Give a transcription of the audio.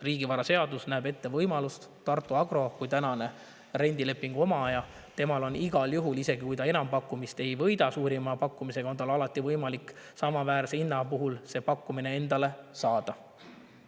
Riigivaraseadus näeb ette, et Tartu Agrol kui tänasel rendilepingu omajal on igal juhul, isegi kui ta enampakkumist ei võida suurima pakkumisega, samaväärse hinna puhul võimalik see endale saada.